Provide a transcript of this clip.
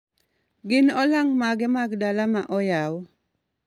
Gin olang' mage mag dala ma oyaw